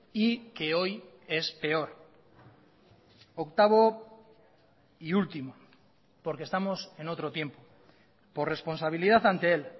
y que hoy es peor octavo y último porque estamos en otro tiempo por responsabilidad ante él